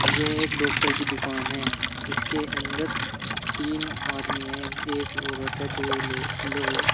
यह एक डॉक्टर की दुकान है इसके अंदर तीन आदमी हैं एक औरत है दो और लोग लोग हैं।